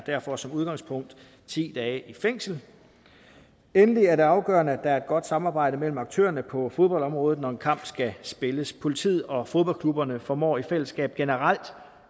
derfor som udgangspunkt ti dage i fængsel endelig er det afgørende at der er et godt samarbejde mellem aktørerne på fodboldområdet når en kamp skal spilles politiet og fodboldklubberne formår i fællesskab generelt